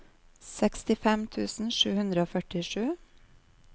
sekstifem tusen sju hundre og førtisju